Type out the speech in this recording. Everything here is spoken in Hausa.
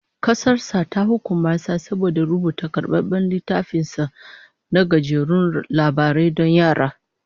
Kasar sa ta karrama shi saboda rubuta karbabben littafin sa na gajerun labarai don yara